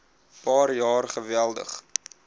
paar jaar geweldig